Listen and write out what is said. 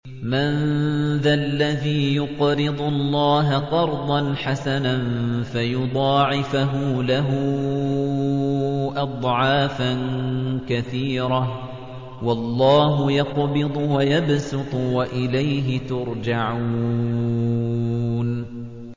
مَّن ذَا الَّذِي يُقْرِضُ اللَّهَ قَرْضًا حَسَنًا فَيُضَاعِفَهُ لَهُ أَضْعَافًا كَثِيرَةً ۚ وَاللَّهُ يَقْبِضُ وَيَبْسُطُ وَإِلَيْهِ تُرْجَعُونَ